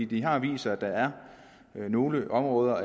det har vist sig at der er nogle områder